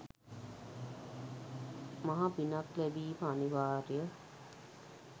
මහ පිනක් ලැබීම අනිවාර්යය.